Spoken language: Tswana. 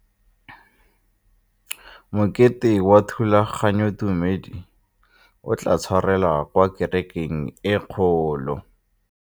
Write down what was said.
Mokete wa thulaganyôtumêdi o tla tshwarelwa kwa kerekeng e kgolo.